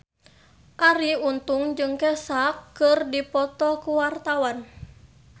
Arie Untung jeung Kesha keur dipoto ku wartawan